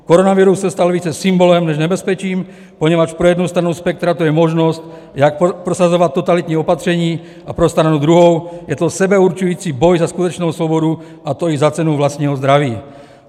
Koronavirus se stal více symbolem než nebezpečím, poněvadž pro jednu stranu spektra to je možnost, jak prosazovat totalitní opatření, a pro stranu druhou je to sebeurčující boj za skutečnou svobodu, a to i za cenu vlastního zdraví.